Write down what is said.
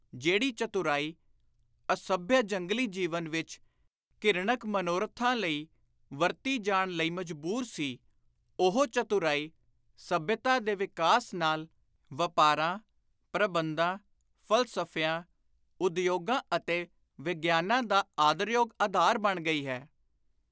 ਜਿਹੜੀ ਚਤੁਰਾਈ, ਅਸੱਭਿਅ ਜੰਗਲੀ ਜੀਵਨ ਵਿਚ ਘਿਰਣਤ ਮਨੋਰਥਾਂ ਲਈ ਵਰਤੀ ਜਾਣ ਲਈ ਮਜਬੂਰ ਸੀ, ਉਹੋ ਚਤੁਰਾਈ ਸੱਭਿਅਤਾ ਦੇ ਵਿਕਾਸ ਨਾਲ, ਵਾਪਾਰਾਂ, ਪ੍ਰਬੰਧਾਂ, ਫ਼ਲਸਫ਼ਿਆਂ, ਉਦਯੋਗਾਂ ਅਤੇ ਵਿਗਿਆਨਾਂ ਦਾ ਆਦਰਯੋਗ ਆਧਾਰ ਬਣ ਗਈ ਹੈ।